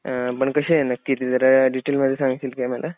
पण कशी आहे नक्की ते जरा डिटेल मध्ये सांगशील काय मला.